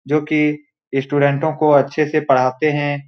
जो की स्टूडेंटो को अच्छे से पढ़ाते हैं।